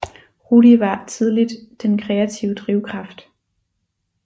Rudi var tidligt den kreative drivkraft